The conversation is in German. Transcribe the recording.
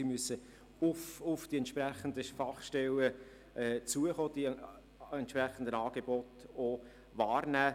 Sie müssen auf die entsprechenden Fachstellen zugehen, die entsprechenden Angebote auch wahrnehmen.